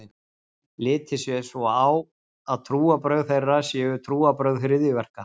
Litið sé svo á að trúarbrögð þeirra séu trúarbrögð hryðjuverka.